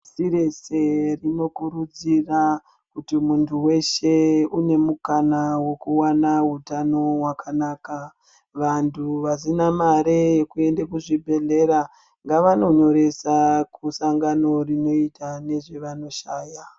Si rese rinokurudzira kuti muntu weshe une mukana wekuwana utano wakanaka vantu vasina mare yekuende kuzvibhedhlera ngavanonyoresa kusangano rinoita nezvevanoshaya.